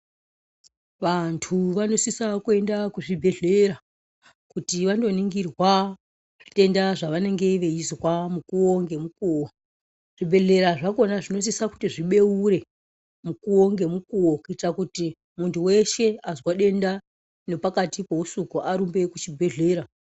Vantu vanosisa kuenda kuzvibhedhlera kuti vandoningirwa zvitenda zvavanenge veizwa mukuwo ngemukuwo zvibhedhlera zvacho zvinosisa kuti zvibeurwe mukuwo ngemukuwo kuitira kuti muntu weshe azwa denda nepakati pehusiku arumbe kuchibhedhlera.